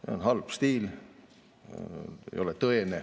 See on halb stiil, see ei ole tõene.